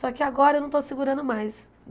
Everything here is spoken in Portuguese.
Só que agora eu não estou segurando mais.